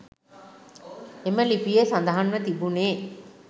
එම ලිපියේ සඳහන්ව තිබුණේ